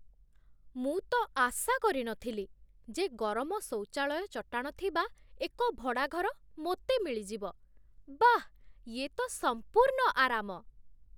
ମୁଁ ତ ଆଶା କରିନଥିଲି ଯେ ଗରମ ଶୌଚାଳୟ ଚଟାଣ ଥିବା ଏକ ଭଡ଼ାଘର ମୋତେ ମିଳିଯିବ, ବାଃ ୟେ ତ ସମ୍ପୁର୍ଣ୍ଣ ଆରାମ!